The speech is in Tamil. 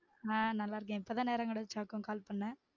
ஆஹ் நல்லா இருக்கேன் இப்பதான் நேரம் கெடச்சதாக்கும் கால் பண்ண